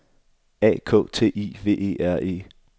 A K T I V E R E